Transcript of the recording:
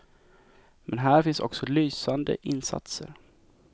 Men här finns också lysande insatser.